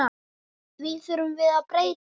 Því þurfum við að breyta.